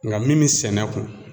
Nka min mi sɛnɛ kun